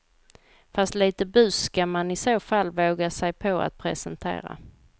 Fast lite bus ska man i så fall våga sig på att presentera.